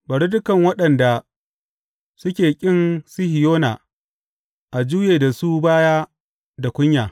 Bari dukan waɗanda suke ƙin Sihiyona a juye da su baya da kunya.